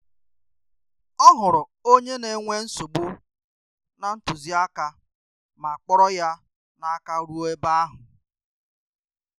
O hụrụ onye na-enwe nsogbu na ntụziaka ma kpọrọ ya n'aka ruo ebe ahụ.